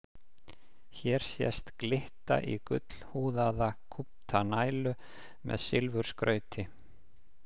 Hér sést glitta í gullhúðaða kúpta nælu með silfurskrauti.